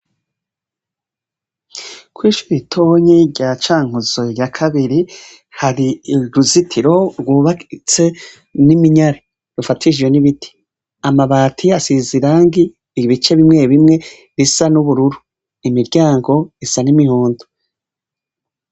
Kw'ishure ritonyi rya Cankuzo ya Kabiri hari uruzitiro rwubatse n'iminyare, rufatishijwe n'ibiti. Amabati asize irangi ibice bimwe bimwe bisa n'ubururu. Imiryango isa n'imihondo.